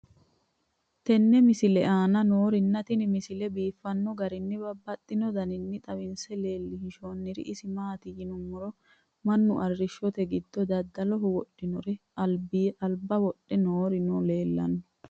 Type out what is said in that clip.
tenne misile aana noorina tini misile biiffanno garinni babaxxinno daniinni xawisse leelishanori isi maati yinummoro mannu arishshotte giddo dadalloho wodhinnore alibba wodhe noori noo leelanni